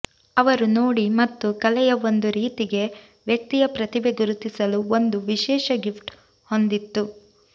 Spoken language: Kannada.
ಅವರು ನೋಡಿ ಮತ್ತು ಕಲೆಯ ಒಂದು ರೀತಿಗೆ ವ್ಯಕ್ತಿಯ ಪ್ರತಿಭೆ ಗುರುತಿಸಲು ಒಂದು ವಿಶೇಷ ಗಿಫ್ಟ್ ಹೊಂದಿತ್ತು